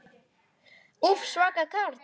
Úff, svaka karl.